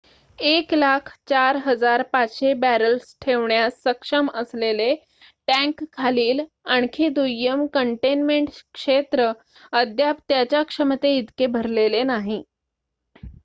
104,500 barrels ठेवण्यास सक्षम असलेले टँकखालील आणखी दुय्यम कंटेनमेंट क्षेत्र अद्याप त्याच्या क्षमते इतके भरलेले नाही